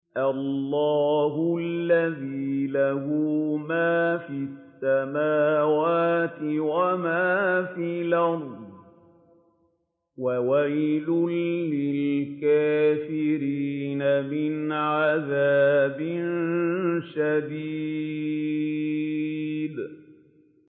اللَّهِ الَّذِي لَهُ مَا فِي السَّمَاوَاتِ وَمَا فِي الْأَرْضِ ۗ وَوَيْلٌ لِّلْكَافِرِينَ مِنْ عَذَابٍ شَدِيدٍ